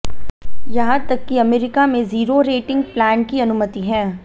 यहां तक कि अमेरिका में जीरो रेटिंग प्लान की अनुमति है